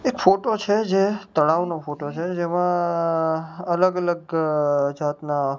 એક ફોટો છે જે તળાવ નો ફોટો છે જેમાં અલગ અલગ જાતના--